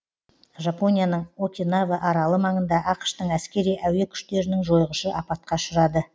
жапонияның окинава аралы маңында ақш тың әскери әуе күштерінің жойғышы апатқа ұшырады